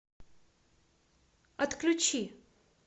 отключи